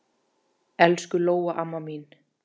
Elsku Lóa amma mín.